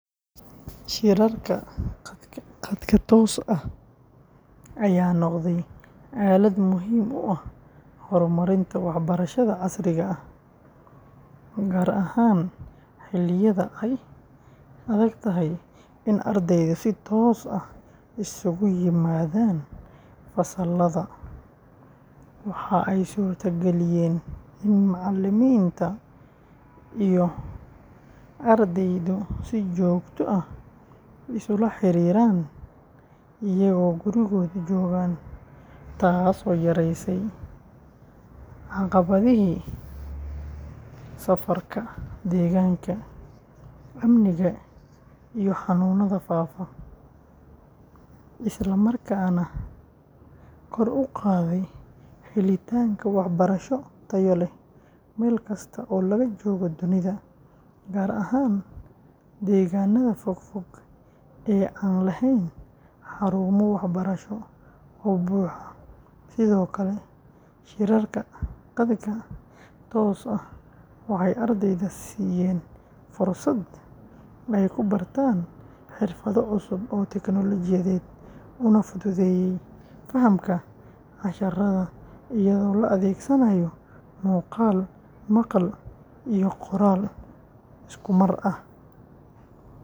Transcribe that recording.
Shirarka khadka tooska ah ayaa noqday aalad muhiim u ah horumarinta waxbarashada casriga ah, gaar ahaan xilliyada ay adagtahay in ardaydu si toos ah iskugu yimaadaan fasallada; waxa ay suurtageliyeen in macallimiinta iyo ardaydu si joogto ah isula xiriiraan iyagoo gurigooda jooga, taasoo yaraysay caqabadihii safarka, deegaanka, amniga iyo xanuunada faafa, isla markaana kor u qaaday helitaanka waxbarasho tayo leh meel kasta oo laga joogo dunida, gaar ahaan deegaanada fog fog ee aan lahayn xarumo waxbarasho oo buuxa; sidoo kale, shirarka khadka tooska ah waxay ardayda siiyeen fursad ay ku bartaan xirfado cusub oo tiknoolajiyeed, una fududeeyay fahamka casharada iyadoo la adeegsanayo muuqaal, maqal iyo qoraal isku mar ah.